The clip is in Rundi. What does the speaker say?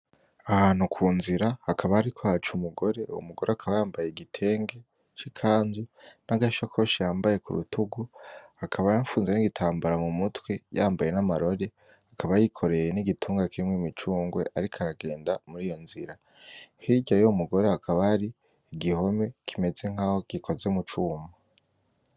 Ahantu kunzira hakaba hariko haca umugore uwo mugore akaba yambaye igitenge c'ikanzu n'agashakoshi yambaye kurutugu akaba yafunze n'igitambara mu mutwe yambaye n’amarori akaba yikoreye n'igitunga kirimwo imicungwe ariko aragenda muriyo nzira , hirya yuwo mugore hakaba hari igihome kimeze nkaho gikozwe mu cuma.